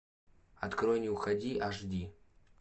открой не уходи аш ди